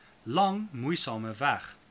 lang moeisame weg